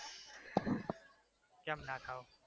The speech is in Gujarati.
કેમ ના થાવ?